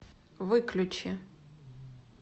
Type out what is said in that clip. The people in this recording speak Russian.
выключи